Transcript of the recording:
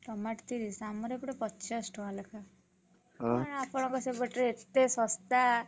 Tomato ତିରିଶ୍! ଆମର ଏପରେ ପଚାଶ ଟଙ୍କା ଲେଖାଁ। ଆପଣଙ୍କର ସେପଟରେ ଏତେ ଶସ୍ତା।